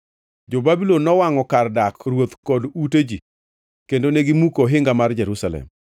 Jo-Babulon nowangʼo kar dak ruoth kod ute ji kendo negimuko ohinga mag Jerusalem.